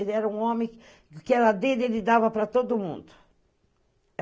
Ele era um homem... O que era dele, ele dava para todo mundo.